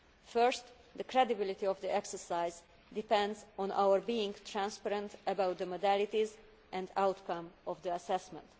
First, the credibility of the exercise depends on our being transparent about the modalities and outcome of the assessment.